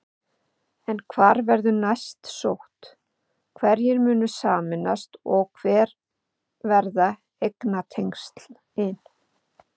En hvar verður næst sótt, hverjir munu sameinast og hver verða eignatengslin?